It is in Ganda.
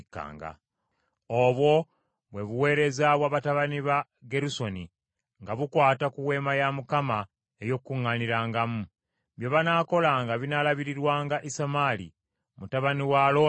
Obwo bwe buweereza bwa batabani ba Gerusoni nga bukwata ku Weema ey’Okukuŋŋaanirangamu. Bye banaakolanga binaalabirirwanga Isamaali mutabani wa Alooni kabona.